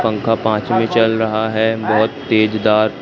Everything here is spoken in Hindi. पंखा पांच में चल रहा है बहोत तेज दार--